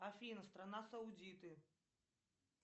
афина страна саудиты